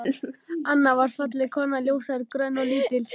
Anna var falleg kona, ljóshærð, grönn og lítil.